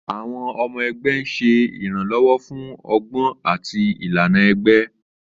Àwọn ọmọ ẹgbẹ́ ń ṣe ìrànlọ́wọ́ fún ọgbọ́n àti ìlànà ẹgbẹ́.